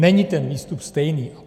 Není ten výstup stejný.